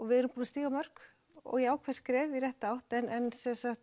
við erum búin að stíga mörg jákvæð skref í rétta átt en